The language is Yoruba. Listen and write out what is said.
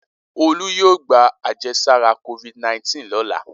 Olú yóò gba àjẹsára Covid-19 lọ́la.